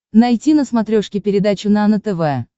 найти на смотрешке передачу нано тв